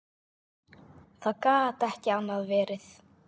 Það gat ekki annað verið.